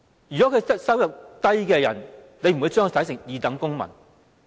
局長會否把低收入人士視作二等公民？